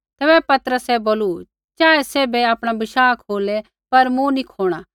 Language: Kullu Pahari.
तैबै पतरसै बोलू चाहे सैभै आपणा विश्वास खोलै पर मूँ नी खोणा